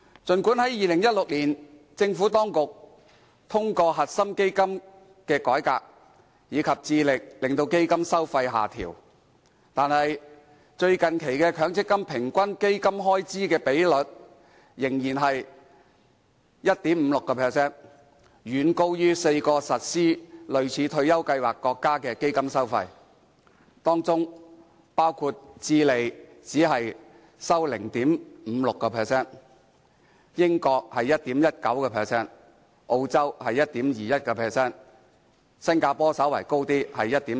儘管政府當局在2016年通過"核心基金"改革，並致力令基金收費下調，但最近期的強積金平均基金開支比率仍是 1.56%， 遠高於4個實施類似退休計劃國家的基金收費，當中包括智利為 0.56%、英國為 1.19%、澳洲為 1.21%， 而新加坡則稍高，為 1.4%。